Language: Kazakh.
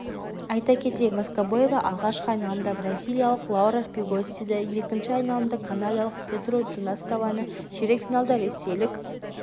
айта кетейік воскобоева алғашқы айналымда бразилиялық лаура пигоссиді екінші айналымда канадалық петру джанускованы ширек финалда ресейлік